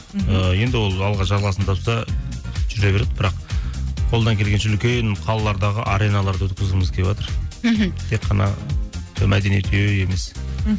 і енді ол алда жалғасын тапса жүре береді бірақ қолдан келгенше үлкен қалалардағы ареналарда өткізкізгіміз келіватыр мхм тек қана мәдениет үйі емес мхм